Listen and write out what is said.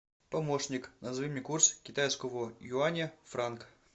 помощник назови мне курс китайского юаня в франк